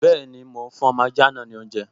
Bẹ́ẹ̀ni, mò ún fún ọmọ ajá náà ní oúnjẹ